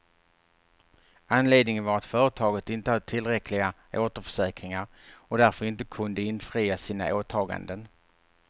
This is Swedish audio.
Anledningen var att företaget inte hade tillräckliga återförsäkringar, och därför inte kunde infria sina åtaganden.